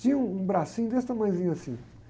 Tinha um, um bracinho desse tamanhozinho assim.